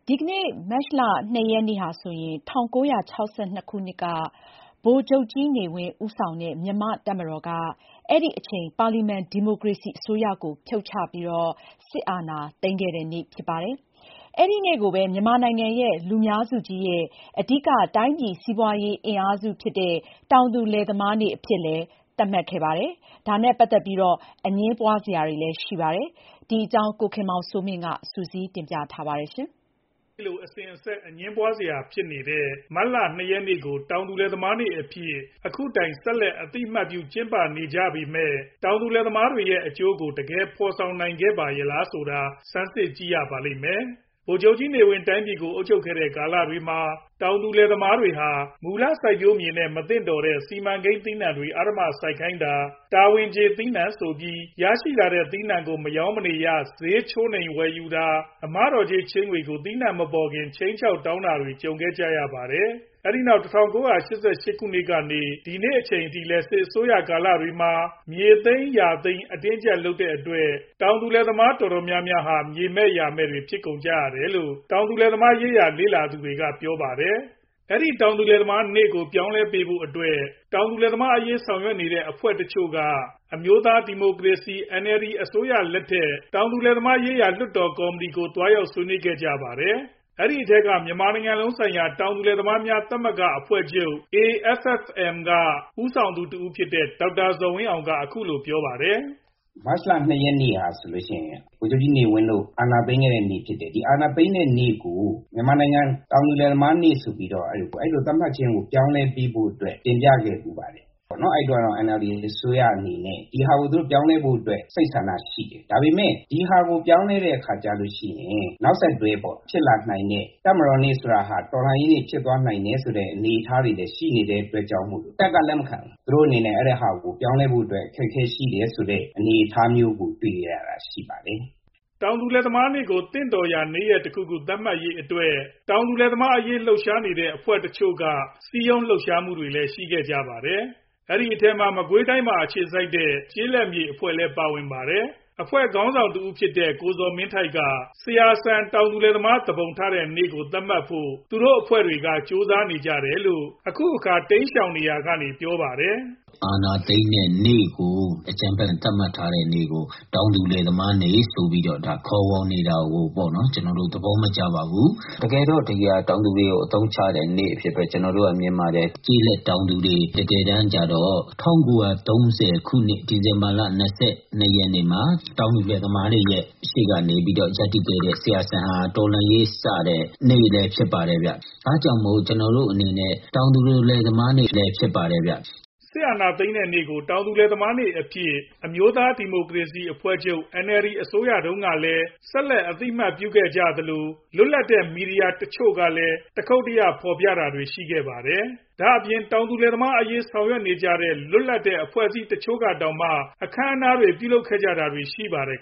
ဒီကနေ့ မတ်လ ၂ ရက်နေ့ဟာဆိုရင် ၁၉ ၆၂ ခုနှစ်က ဗိုလ်ချုပ်ကြီးနေဝင်း ဦးဆောင်တဲ့ မြန်မာတပ်မတော်က အဲဒီအချိန် ပါလီမန်ဒီမိုကရေစီအစိုးရကို ဖြုတ်ချပြီး စစ်အာဏာသိမ်းခဲ့တဲ့နေ့ဖြစ်ပါတယ်။ အဲဒီနေ့ကိုပဲ မြန်မာနိုင်ငံရဲ့ လူများစုကြီးနဲ့ အဓိက တိုင်းပြည်စီးပွားရေးအင်အားစုကြီးဖြစ်ကြတဲ့ တောင်သူလယ်သမားနေ့အဖြစ်လည်း သတ်မှတ်ခဲ့ပါတယ်။ ဒါနဲ့ပတ်သက်ပြီးတော့ အငြင်းပွားစရာတွေ ဖြစ်နေပါတယ်။ ဒီအကြောင်း ကိုခင်မောင်စိုးမင်း က စုစည်းတင်ပြထားပါတယ်။ အဲဒီလို အစဉ်အဆက် အငြင်းပွားစရာဖြစ်နေတဲ့ မတ်လ ၂ ရက်နေ့ကို တောင်သူလယ်သမားနေ့အဖြစ် အခုတိုင် ဆက်လက်အသိအမှတ်ပြု ကျင်းပနေကြပေမယ့် တောင်သူလယ်သမားတွေရဲ့ အကျိုးကို တကယ်ဖော်ဆောင်နိုင်ခဲ့ပါရဲလားဆိုတာ စမ်းစစ်ကြည့်ရပါမယ်။ ဗိုလ်ချုပ်ကြီးနေဝင်း တိုင်းပြည်ကို အုပ်ချုပ်ခဲ့တဲ့ ကာလတွေမှာ တောင်သူလယ်သမားတွေဟာ မူလစိုက်ပျိုးမြေနဲ့ မသင့်တော်တဲ့ စီမံကိန်းသီးနှံတွေ အဓမ္မစိုက်ခိုင်းတာ၊ တာဝန်ကြေသီးနှံဆိုပြီး ရရှိလာတဲ့ သီးနှံကို မရောင်းမနေရ ဈေးချိုးနှိမ်ဝယ်ယူတာ၊ အမတော်ကြေးချေးငွေတွေကို သီးနှံမပေါ်ခင် ခြိမ်းခြောက်တောင်းတာတွေ ကြုံခဲ့ကြရပါတယ်။ အဲဒီနောက် ၁၉ ၈၈ ကနေ ဒီကနေ့အချိန်အထိလည်း စစ်အစိုးရကာလတွေမှာလည်း မြေသိမ်းယာသိမ်း အတင်းအကြပ်လုပ်တဲ့အတွက် တောင်သူလယ်သမားတွေအတော်များများဟာ မြေမဲ့ယာမဲ့တွေဖြစ်ခဲ့ကြရတယ်လို့ တောင်သူလယ်သမားအရေးလေ့လာသူတွေက ပြောပါတယ်။ အဲဒီတောင်သူလယ်သမားနေ့ကို ပြောင်းလည်းပေးဖို့အတွက် တောင်သူလယ်သမားအရေး ဆောင်ရွက်နေတဲ့အဖွဲ့တချို့က အမျိုးသားဒီမိုကရေစီ NLD အစိုးရလက်ထက် တောင်သူလယ်သမားရေးရာလွှတ်တော်ကော်မတီကို သွားရောက်ဆွေးနွေးခဲ့ကြပါတယ်။ အဲဒီအထဲက မြန်မာနိုင်ငံလုံးဆိုင်ရာ တောင်သူလယ်သမားသမဂ္ဂအဖွဲ့ချုပ် AFFM က ဦးဆောင်သူတဦးဖြစ်တဲ့ ဒေါက်တာဇော်ဝင်းအောင် က အခုလိုပြောပါတယ်။ ဒေါက်တာဇော်ဝင်းအောင် ။. ။ ကျနော်တို့အနေနဲ့ ဒီမတ်လ ၂ ရက်နေ့ဟာဆိုရင် မြန်မာနိုင်ငံမှာ ဗိုလ်ချုပ်ကြီးနေဝင်း တို့ အာဏာသိမ်းတဲ့နေ့ဖြစ်တယ်။ ဒီအာဏာသိမ်းတဲ့နေ့ကို တောင်သူလယ်သမားနေ့အဖြစ် သတ်မှတ်တာကို ပြောင်းလည်းပေးဖို့အတွက် တင်ပြခဲ့ဘူးပါတယ်။ အဲဒီတုံးက NLD အစိုးရအနေနဲ့ ပြောင်းလည်းပေးဖို့ စိတ်ဆန္ဒရှိတယ်။ ဒါပေမယ့် ဒီဟာကို ပြောင်းလည်းလိုက်ရင် နောက်ဆက်တွဲ ဖြစ်လာနိုင်တဲ့ တပ်မတော်နေ့ဆိုတာ တော်လှန်ရေးနေ့ဖြစ်သွားနိုင်တယ်ဆိုတဲ့အနေအထားတွေလည် ရှိလာနိုင်တဲ့အတွက်ကြောင့် ပြောင်းဖို့အခက်အခဲရှိမယ်။ တပ်က လုံးဝလက်မခံဘူး။ သူတို့အနေနဲ့ ပြောင်းလည်းဖို့အခက်အခဲရှိတဲ့အနေအထားမျိုးတွေ့ခဲ့ရပါတယ်။ တောင်သူလယ်သမားနေ့ကို သင့်တော်ရာ နေ့ရက်တခုခု သတ်မှတ်ရေးအတွက် တောင်သူလယ်သမားအရေးလှုပ်ရှားနေကြတဲ့အဖွဲ့တချို့က စည်းရုံးလှုပ်ရှားမှုတွေလည်း ရှိခဲ့ကြပါတယ်။ အဲဒီအထဲမှာ မကွေးတိုင်းမှာ အခြေစိုက်တဲ့ ကျေးလက်ဖွွံဖြိုးရေးလုပ်ငန်းတွေကို လုပ်ဆောင်နေတဲ့ ကျေးလက်မြေအဖွဲ့ လည်းပါဝင်ပါတယ်။ အဖွဲ့ခေါင်ဆောင်တဦးဖြစ်တဲ့ ကိုဇော်မင်းထိုက် က ဆရာစံ တောသူလယ်သမား သူပုန်ထတဲ့နေ့ကို သတ်မှတ်ဖို့ သူတိုအဖွဲ့တွေကြိုးစားနေကြတယ်လို့ အခုအခါ တိမ်းရှောင်နေရာက ပြောပါတယ်။ ကိုဇော်မင်းထိုက် ။. ။ တောင်သူလယ်သမားနေ့ကို အကြမ်းဖက် သတ်မှတ်ထားတဲ့ စစ်အာဏာသိမ်းတဲ့နေ့ကို သတ်မှတ်ထားတာကို သဘောမကျပါဘူး ။ တကယ်တော့ ဒါဟာ တောင်သူလယ်သမားတွေကို အသုံးချတာပါ။ တကယ်တန်းကျေးလက်တောင်သူလယ်သမားတွေကို သူတို့ရှေ့ကနေ. မားမားမတ်မတ်ရပ်တည်ခဲ့တာကတော့ ၁၉ ၃၀ ခုနှစ် ဒီဇင်ဘာလ ၂၂ ရက်နေ့မှာ ဆရာစံ တောင်သူလယ်သမား တော်လှန်ရေးစတင်တဲ့နေ့ဖြစ်ပါတယ်။ ဒါကြောင့် အဲဒီနေ့ဟာ တောင်သူလယ်သမားနေ့ဖြစ်ပါတယ်။ စစ်အာဏာသိမ်းတဲ့နေ့ကို တောင်သူလယ်သမားနေ့အဖြင့် အမျိုးသားဒီမိုကရေစီအဖွဲ့ချုပ် အစိုးရတုံးကလည်း ဆက်လက်အသိအမှတ်ပြုခဲ့သလို၊ လွတ်လပ်တဲ့မီဒီယာတချို့ကလည်း တခုတ်တရဖော်ပြခဲ့တာတွေရှိခဲ့ပါတယ်။ ဒါအပြင် တောင်သူလယ်သမားအရေးဆောင်ရွက်နေကြတဲ့ လွတ်လပ်တဲ့ အဖွဲ့အစည်းတချို့ကတောင်မှ အခမ်အနားတွေ ပြုလုပ်ခဲ့ကြတာတွေ့ရပါတယ်